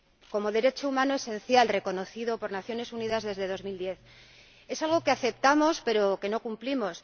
como derecho humano esencial reconocido por las Naciones Unidas desde el año 2010. Es algo que aceptamos pero que no cumplimos.